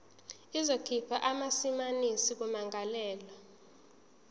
izokhipha amasamanisi kummangalelwa